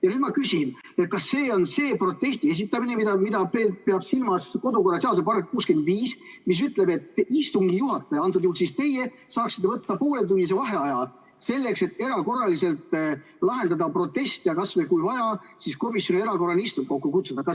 Ja nüüd ma küsin: kas see on see protesti esitamine, mida peab silmas kodu- ja töökorra seaduse § 65, mis ütleb, et istungi juhataja, antud juhul teie, saab võtta pooletunnise vaheaja, selleks et erakorraliselt lahendada protest ja kui vaja, siis ka komisjoni erakorraline istung kokku kutsuda?